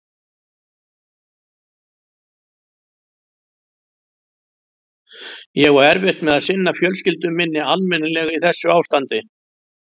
Ég á erfitt með að sinna fjölskyldu minni almennilega í þessu ástandi.